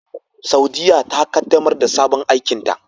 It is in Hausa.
Saudiyya ta kaddamar da sabon aikinta.